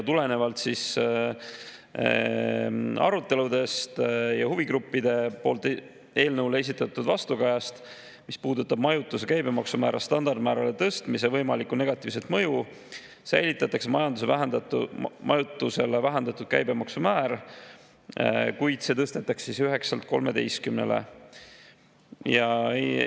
Tulenevalt aruteludest ja huvigruppide poolt eelnõule esitatud vastukajast, mis puudutab majutuse käibemaksumäära standardmäärale tõstmise võimalikku negatiivset mõju, säilitatakse majutusele vähendatud käibemaksumäär, kuid see tõstetakse 9%‑lt 13%‑le.